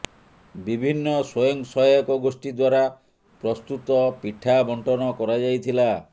ବିଭିନ୍ନ ସ୍ୱୟଂସହାୟକ ଗୋଷ୍ଠୀ ଦ୍ବାରା ପ୍ରସ୍ତୁତ ପିଠା ବଣ୍ଟନ କରାଯାଇଥିଲା